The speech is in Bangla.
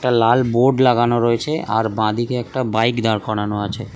একটা লাল বোর্ড লাগানো রয়েছে আর বাঁদিকে একটা বাইক দাঁড় করানো আছে।